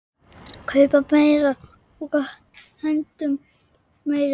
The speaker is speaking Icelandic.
Kaupa meira og hendum meiru.